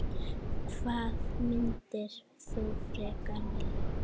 Hvað myndir þú frekar vilja?